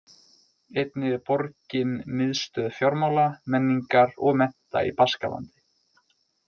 Einnig er borgin miðstöð fjármála, menningar og mennta í Baskalandi.